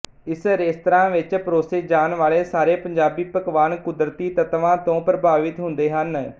ਇਸ ਰੇਸਤਰਾ ਵਿੱਚ ਪਰੋਸੇ ਜਾਣ ਵਾਲੇ ਸਾਰੇ ਪੰਜਾਬੀ ਪਕਵਾਨ ਕੁਦਰਤੀ ਤੱਤਵਾ ਤੋ ਪ੍ਰਭਾਵਿਤ ਹੁੰਦੇ ਹਨ